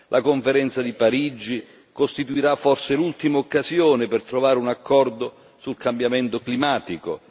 La Conferenza di Parigi costituirà forse l'ultima occasione per trovare un accordo sul cambiamento climatico.